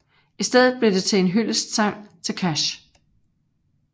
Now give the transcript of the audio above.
I stedet blev det en hyldestsang til Cash